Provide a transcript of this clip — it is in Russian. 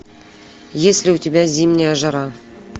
есть ли у тебя зимняя жара